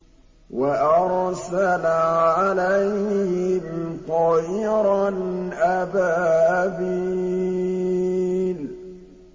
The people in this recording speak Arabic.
وَأَرْسَلَ عَلَيْهِمْ طَيْرًا أَبَابِيلَ